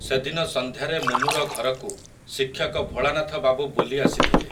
ସେଦିନ ସନ୍ଧ୍ୟାରେ ମୁନୁର ଘରକୁ, ଶିକ୍ଷକ ଭୋଳାନାଥବାବୁ ବୁଲି ଆସିଥିଲେ ।